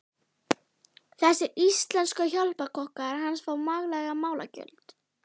Þessir íslensku hjálparkokkar hans fá makleg málagjöld.